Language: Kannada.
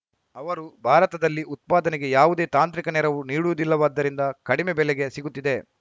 ಅವರು ಭಾರತದಲ್ಲಿ ಉತ್ಪಾದನೆಗೆ ಯಾವುದೇ ತಾಂತ್ರಿಕ ನೆರವು ನೀಡುವುದಿಲ್ಲವಾದ್ದರಿಂದ ಕಡಿಮೆ ಬೆಲೆಗೆ ಸಿಗುತ್ತಿದೆ